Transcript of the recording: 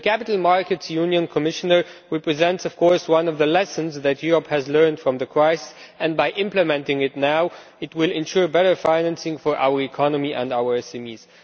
The capital markets union, Commissioner, represents one of the lessons that Europe has learned from the crisis, and by implementing it now it will ensure better financing for our economy and our SMEs.